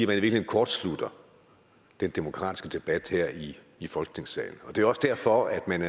virkeligheden kortslutter den demokratiske debat her i i folketingssalen det er også derfor at man